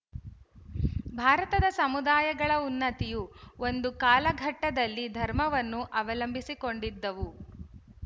ಭಾರತದ ಸಮುದಾಯಗಳ ಉನ್ನತಿಯು ಒಂದು ಕಾಲಘಟ್ಟದಲ್ಲಿ ಧರ್ಮವನ್ನು ಅವಲಂಬಿಸಿಕೊಂಡಿದ್ದವು